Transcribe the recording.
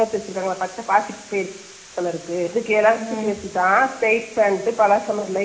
நேரா இருக்குது அதுல ரெண்டு pieces வே இல்ல, ஒரே pant ல மேல இருந்து கிழ வரிக்கும்.